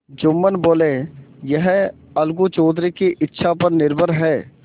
जुम्मन बोलेयह अलगू चौधरी की इच्छा पर निर्भर है